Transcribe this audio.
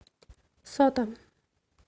сота